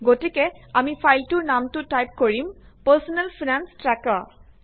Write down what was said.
গতিকে আমি ফাইলটোৰ নামটো টাইপ কৰিম পাৰ্চনেল ফাইনেঞ্চ ট্ৰেকাৰ